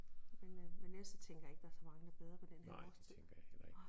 Men øh men ellers så tænker jeg ikke der er så mange der bader på den her årstid